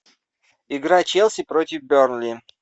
игра челси против бернли